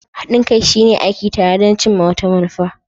Haɗin kai shine aiki tare don cimma wata manufa.